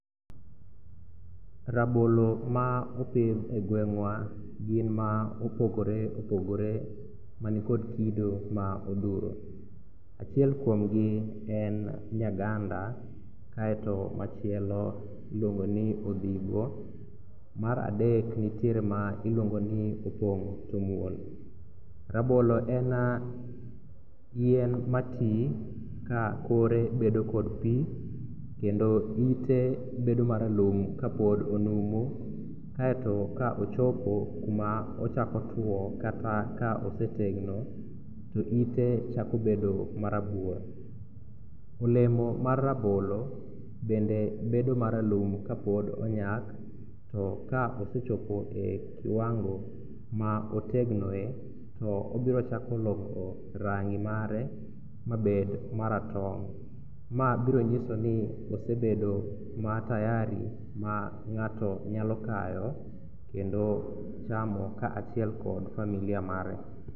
Rabolo ma opidh e gweng'wa gin ma opogore opogore manikod kido ma odhuro. Achiel kuomgi en nyaganda kaeto machielo iluongo ni odhigo mar aderk nitiere ma iluongfoni opong' tomuol. Rabolo en yien mati ka kore bedo kod pi kendo ite bedo maralum kapod onumu kaeto ka ochopo kuma ochako two kata osetegno to ite chakobedo marabuor. Olemo mar rabolo bende bedo maralum kapod onyak to ka osechopo e kiwango ma otegnoe to obiro chako loko rangi mare mabed maratong'. Ma biro nyisoni osebedo ma tayari ma ng'ato nyalo kayo kendo chamo kaachiel kod familia mare.